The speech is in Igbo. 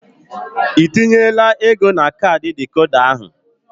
Ị tinyela ego na kaadị dịkoda ahụ?